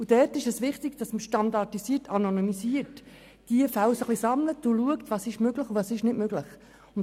Daher ist es wichtig, dass man diese Fälle standardisiert und anonymisiert sammelt und schaut, was möglich ist und was nicht.